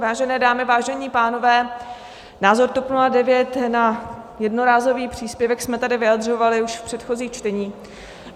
Vážené dámy, vážení pánové, názor TOP 09 na jednorázový příspěvek jsme tady vyjadřovali už v předchozích čteních.